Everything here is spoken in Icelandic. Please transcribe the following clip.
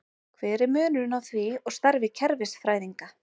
Hver er munurinn á því og starfi kerfisfræðinga?